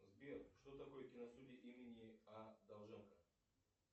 сбер что такое киностудия имени а довженко